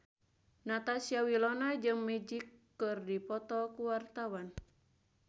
Natasha Wilona jeung Magic keur dipoto ku wartawan